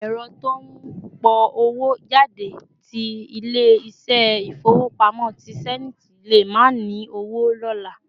Èrò tí ó pọ̀ owó jáde ti ilé ìṣe ifowopamọ tí Zenith lè má ni owo lóla